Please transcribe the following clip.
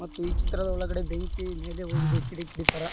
ಮತ್ತು ಈ ಚಿತ್ರದ ಒಳಗಡೆ ಬೆಂಕಿ ಮೇಲೆ ಹೋಗಿದೆ ಕಿಡಿ ಕಿಡಿ ತರ.